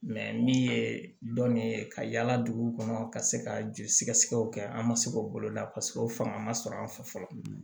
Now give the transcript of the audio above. min ye dɔnni ye ka yaala dugu kɔnɔ ka se ka joli sɛgɛsɛgɛw kɛ an ma se k'o boloda o fanga ma sɔrɔ an fɛ fɔlɔ